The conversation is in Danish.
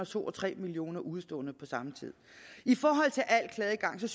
to og tre million udeståender på samme tid i forhold til al klageadgang vil